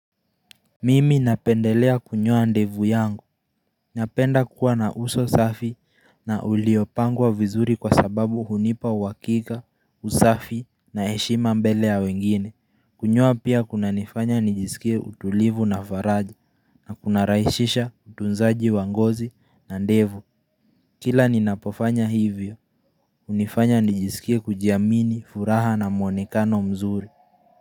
Mimi napendelea kunyoa ndevu yangu, napenda kuwa na uso safi na uliopangwa vizuri kwa sababu hunipa uakika, usafi na heshima mbele ya wengine Kunyoa pia kuna nifanya nijisikie utulivu na faraja na kuna raishisha tunzaji wangozi na ndevu Kila ninapofanya hivyo, unifanya nijisikie kujiamini furaha na muonekano mzuri.